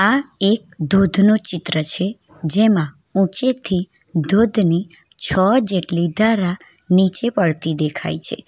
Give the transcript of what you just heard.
આ એક ધોધનું ચિત્ર છે જેમાં ઊંચેથી ધોધની છો જેટલી ધારા નીચે પડતી દેખાય છે.